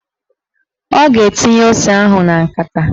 Ọ ga-etinye ose ahụ na nkata